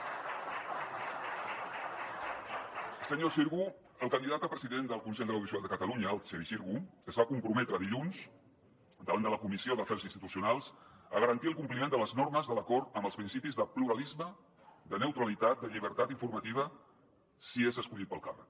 el senyor xirgo el candidat a president del consell de l’audiovisual de catalunya el xevi xirgo es va comprometre dilluns davant de la comissió d’afers institucionals a garantir el compliment de les normes de l’acord amb els principis de pluralisme de neutralitat de llibertat informativa si és escollit per al càrrec